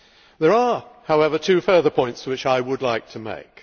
There are, however, two further points which I would like to make.